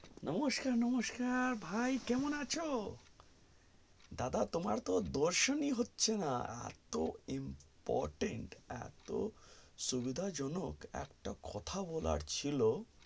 নমস্কান নমস্কান ভাই কেমন আছো দাদা তোমার তো দর্শনই হচ্ছে না এত important এত সুবিধা জনক একটা কথা বলার ছিল